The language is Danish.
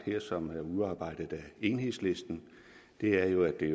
her og som er udarbejdet af enhedslisten er jo at det